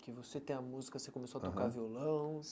Que você tem a música, você começou a tocar violão.